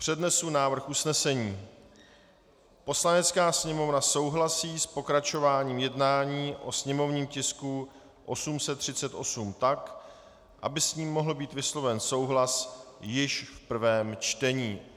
Přednesu návrh usnesení: "Poslanecká sněmovna souhlasí s pokračováním jednání o sněmovním tisku 838 tak, aby s ní mohl být vysloven souhlas již v prvém čtení."